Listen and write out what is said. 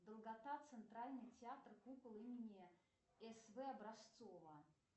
долгота центральный театр кукол имени с в образцова